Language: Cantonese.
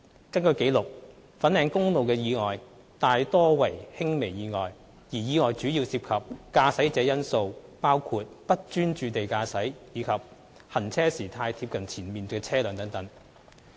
根據紀錄，粉嶺公路的意外大多為輕微意外，而意外主要涉及駕駛者因素，包括"不專注地駕駛"及"行車時太貼近前面的車輛"等。